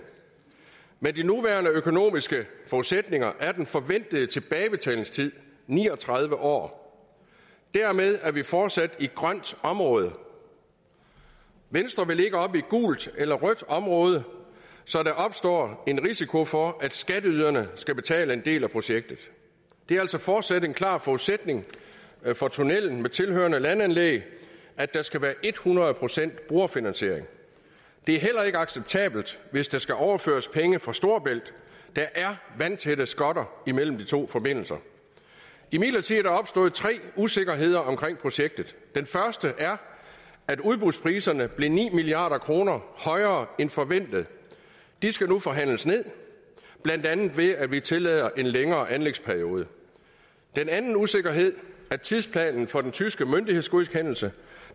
med de nuværende økonomiske forudsætninger er den forventede tilbagebetalingstid ni og tredive år dermed er vi fortsat i grønt område venstre vil ikke op i gult eller rødt område så der opstår en risiko for at skatteyderne skal betale en del af projektet det er altså fortsat en klar forudsætning for tunnelen med tilhørende landanlæg at der skal være ethundrede procent brugerfinansiering det er heller ikke acceptabelt hvis der skal overføres penge fra storebælt der er vandtætte skotter imellem de to forbindelser imidlertid er der opstået tre usikkerheder omkring projektet den første er at udbudspriserne blev ni milliard kroner højere end forventet de skal nu forhandles ned blandt andet ved at vi tillader en længere anlægsperiode den anden usikkerhed er tidsplanen for den tyske myndighedsgodkendelse